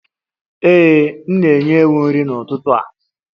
Ee, m na-enye ewu nri n'ụtụtụ a